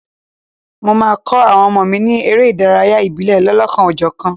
Mo máa kọ́ àwọn ọmọ mi ní eré ìdárayá ìbílẹ̀ lọ́lọ́kan-ò-jọ̀kan.